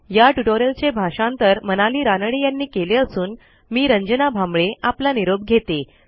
या ट्युटोरियलचे भाषांतर मनाली रानडे यांनी केले असून मी रंजना भांबळे आपला निरोप घेते